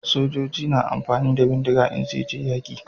Sojoji na amfani da bindiga in za a je yaƙi